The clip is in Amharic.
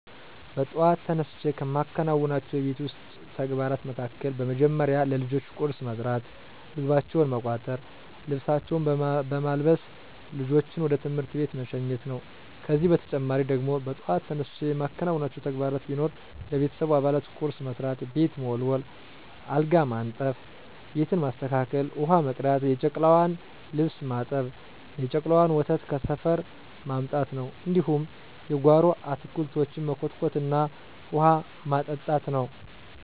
በጥዋት ተነስቸ ከምከውናቸው የቤት ዉስጥ ተግባራት መካከል፦ በመደመሪያ ለልጆቸ ቁርስ መስራት፣ ምግባቸውን መቋጠር፣ ልብሳቸውን በማልበስ ልጆችን ወደ ትምህርት ቤት መሸኘት ነው። ከዚህ በተጨማሪ ደግሞ በጧት ተነስቸ የማከናውናቸው ተግባራት ቢኖር ለቤተሰቡ አባላት ቁርስ መስራት፣ ቤት መወልወል፣ አልጋ ማንጠፋ፣ ቤትን ማስተካከል፣ ውሀ መቅዳት፣ የጨቅላዋን ልብስ ማጠብ፣ የጨቅላዋን ወተት ከሰፈር ማምጣት ነው፣ እንዲሁም የጓሮ አታክልቶችን መኮትኮትና ውሀ ማጠጣት ነው።